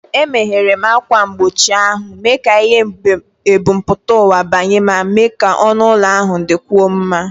Emeghere m ákwà mgbochi ahụ, mee ka ìhè ebumpụta ụwa banye ma mee ka ọnụ ụlọ ahụ dịkwuo mma.